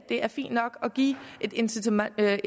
er fint nok at give et incitament